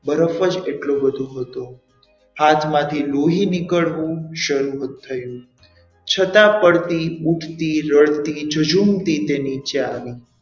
બરફ જ એટલો બધો હતો હાથમાંથી લોહી નીકળવું શરૂ થયું છતાં પણ તે ઉઠતી રડતી જજુમતી તે નીચે આવી.